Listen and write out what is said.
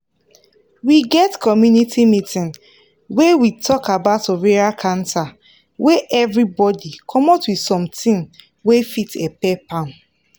we get community meeting wey we talk about ovarian cancer wey everybody commot with something wey fit help help am